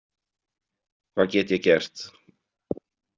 Hvað get ég gert?